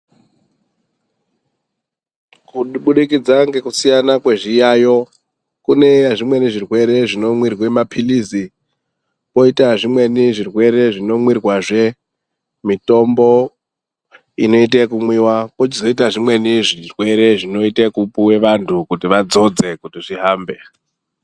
Kubudikidza ngekusiyana kwezviyayo, kune zvimweni zvirwere zvinomwirwe maphilizi, kwoita zvimweni zvinomwirwazve mitombo inoita ekumwiwa kwochizoita zvimweni zvirwere zvinoita ekupuhwe vantu kuti vadzodze kuti zvihambe.